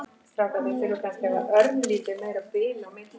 Nei, ég vil það ekki.